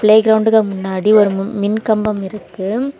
Play கிரவுண்டுக்கு முன்னாடி ஒரு ம் மின் கம்பம் இருக்கு.